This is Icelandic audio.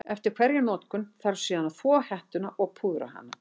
Eftir hverja notkun þarf síðan að þvo hettuna og púðra hana.